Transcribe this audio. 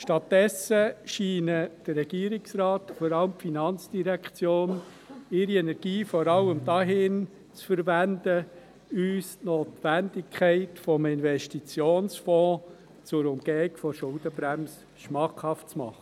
Stattdessen scheinen der Regierungsrat und vor allem die FIN ihre Energie vor allem dafür zu verwenden, uns die Notwendigkeit eines Investitionsfonds zur Umgehung der Schuldenbremse schmackhaft zu machen.